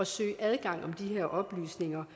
søge adgang om de her oplysninger